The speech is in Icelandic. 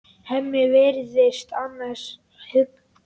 Hemmi virðist annars hugar.